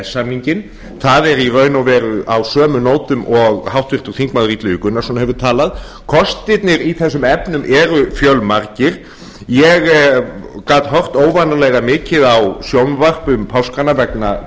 samninginn það er í raun og veru á sömu nótum og háttvirtur þingmaður illugi gunnarsson hefur talað kostirnir í þessum efnum eru fjölmargir ég gat horft óvanalega mikið á sjónvarp um páskana vegna